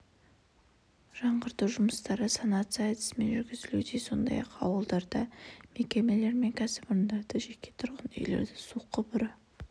жаңғырту жұмыстары санация әдісімен жүргізілуде сондай-ақ ауылдарда мекемелер мен кәсіпорындарды жеке тұрғын үйлерді су құбыры